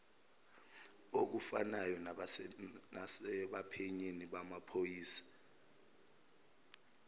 okufanayo nasebaphenyini bamaphoyisa